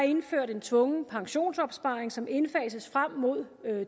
indført en tvungen pensionsopsparing som indfases frem mod